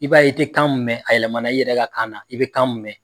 I b'a ye i te kan mun mɛ, a yɛlɛmana i yɛrɛ ka kana na, i bɛ kan mun mɛ.